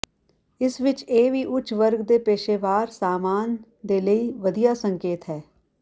ਇਸ ਵਿੱਚ ਇਹ ਵੀ ਉੱਚ ਵਰਗ ਦੇ ਪੇਸ਼ੇਵਰ ਸਾਮਾਨ ਦੇ ਲਈ ਵਧੀਆ ਸੰਕੇਤ ਹੈ